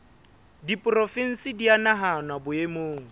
diporofensi di a nahanwa boemong